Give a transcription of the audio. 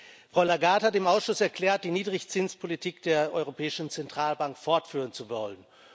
Frau Lagarde hat dem Ausschuss erklärt, die Niedrigzinspolitik der Europäischen Zentralbank fortführen zu wollen.